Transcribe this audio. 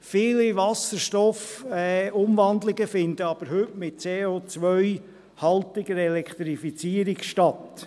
Viele Wasserstoffumwandlungen finden aber heute mit CO-haltiger Elektrifizierung statt.